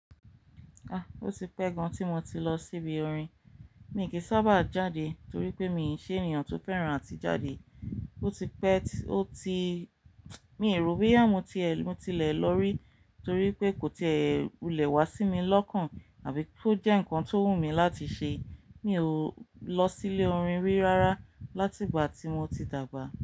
Ah! Ó ti pẹ́ gan tí mo ti lọ síbi orin. Mí kìí sábà jáde torí pé mi ò ṣe èeyàn tó fẹ́ràn àti jáde. Ó ti pẹ́, ó ti-- mi rò bo ya mo tie lè, mo ti lè lọ rí torí pé kò ti kulẹ̀ wá sí mi lọ́kàn àbí kó jẹ́ ǹkan tó wun mí láti ṣe. Mi ò lọ sílé orin rí rárá láti ìgbà tí mo ti dàgbà.